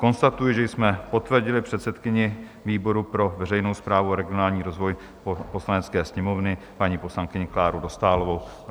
Konstatuji, že jsme potvrdili předsedkyni výboru pro veřejnou správu a regionální rozvoj Poslanecké sněmovny, paní poslankyni Kláru Dostálovou.